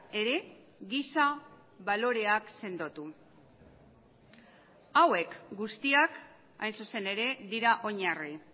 ere giza baloreak sendotu hauek guztiak hain zuzen ere dira oinarri